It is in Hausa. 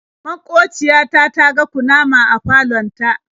Maƙociya ta ta ga kunama a falon ta.